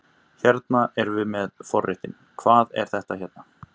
Hérna erum við með forréttinn, hvað er þetta hérna?